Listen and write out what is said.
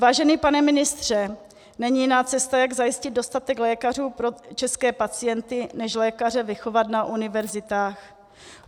Vážený pane ministře, není jiná cesta, jak zajistit dostatek lékařů pro české pacienty, než lékaře vychovat na univerzitách.